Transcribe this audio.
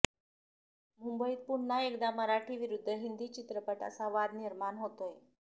मुंबईत पुन्हा एकदा मराठी विरुद्ध हिंदी चित्रपट असा वाद निर्माण होतोय